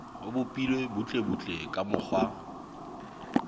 o bopilwe butlebutle ka mokgwa